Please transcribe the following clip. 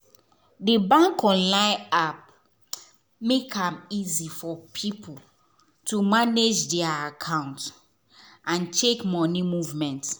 the bank online app make am easy for people to manage their account and check money movement.